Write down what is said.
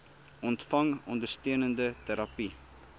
ontvang ondersteunende terapie